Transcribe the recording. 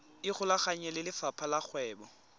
ikgolaganye le lefapha la kgwebo